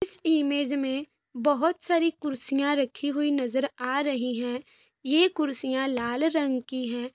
इस इमेज में बहुत सारी कुर्सियाँ रखी हुई नजर आ रही है ये कुर्सियाँ लाल रंग की है।